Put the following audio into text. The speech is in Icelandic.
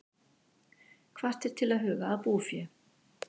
Hvattir til að huga að búfé